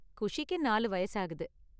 குஷிக்கு நாலு வயசாகுது.